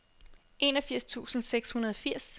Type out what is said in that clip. enogfirs tusind seks hundrede og firs